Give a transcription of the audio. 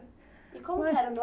E como que era o